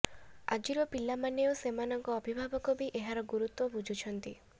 ଆଜିର ପିଲାମାନେ ଓ ସେମାନଙ୍କ ଅଭିଭାବକ ବି ଏହାର ଗୁରୁତ୍ୱ ବୁଝୁଛନ୍ତି